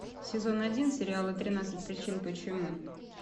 сезон один сериала тринадцать причин почему